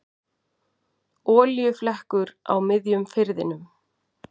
Olíuflekkur á miðjum firðinum